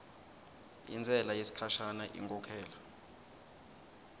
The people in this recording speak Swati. intsela yesikhashana inkhokhela